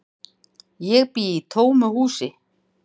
Ég bý í tómu húsi.